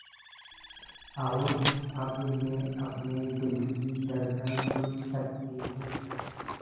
और अब मैं अपने दिल की धड़कन सुन सकती हूँ